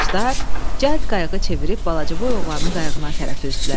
Dostlar cəld qayığı çevirib balacaboy oğlanın qayığına tərəf üzdülər.